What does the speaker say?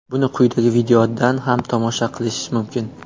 Buni quyidagi videodan ham tomosha qilish mumkin.